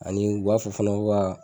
Ani u b'a fɔ fana ko ka.